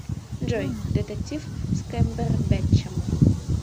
джой детектив с кэмбербетчем